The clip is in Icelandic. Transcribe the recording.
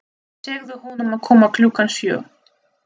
Segðu honum að koma klukkan sjö.